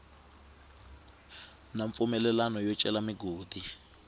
na mpfumelelo yo cela migodi